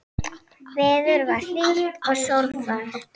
Veður var hlýtt og sólfar.